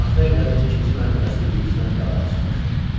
Taxta evlərin ikinci mərtəbəsi birincidən qabağa çıxmışdı.